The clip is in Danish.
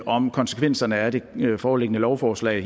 om konsekvenserne af det foreliggende lovforslag